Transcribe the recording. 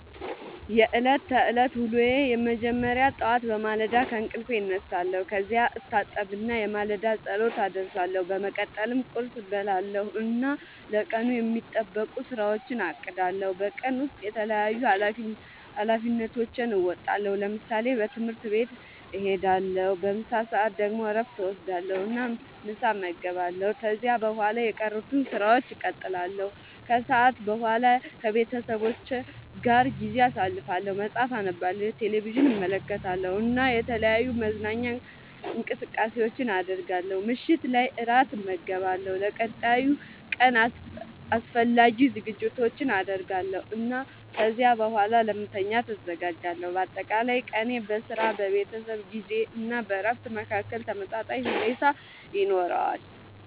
የዕለት ተዕለት ዉሎየ መጀመሪያ ጠዋት በማለዳ ከእንቅልፌ እነሳለሁ። ከዚያ እታጠብና የማለዳ ጸሎት አደርሳለሁ። በመቀጠልም ቁርስ እበላለሁ እና ለቀኑ የሚጠበቁ ሥራዎቼን አቅዳለሁ። በቀን ውስጥ የተለያዩ ኃላፊነቶቼን እወጣለሁ። ለምሳሌ፦ ትምህርት ቤት እሄዳለሁ። በምሳ ሰዓት ደግሞ እረፍት እወስዳለሁ እና ምሳ እመገባለሁ። ከዚያ በኋላ የቀሩትን ሥራዎች እቀጥላለሁ። ከሰዓት በኋላ ከቤተሰቤ ጋር ጊዜ አሳልፋለሁ፣ መጽሐፍ አነባለሁ፣ ቴሌቪዥን እመለከታለሁ እና የተለያዩ መዝናኛ እንቅስቃሴዎችን አደርጋለሁ። ምሽት ላይ እራት እመገባለሁ፣ ለቀጣዩ ቀን አስፈላጊ ዝግጅቶችን አደርጋለሁ እና ከዚያ በኋላ ለመተኛት እዘጋጃለሁ። በአጠቃላይ ቀኔ በሥራ፣ በቤተሰብ ጊዜ እና በእረፍት መካከል ተመጣጣኝ ሁኔታ ይኖረዋል።